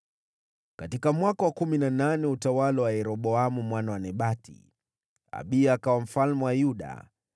Katika mwaka wa kumi na nane wa utawala wa Yeroboamu mwana wa Nebati, Abiya akawa mfalme wa Yuda,